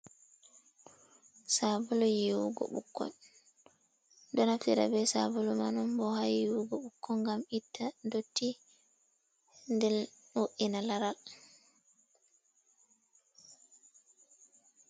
Sabulu yiwugo bokko, donafira be sabolu mai'on bo ha yiwugo bukko gam itta dotti den wo’ina laral.